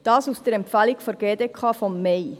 » Das steht in der Empfehlung der GDK vom Mai.